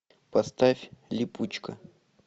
поставь липучка